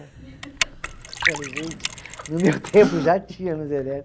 Eu falei, gente, no meu tempo já tinha luz elétrica.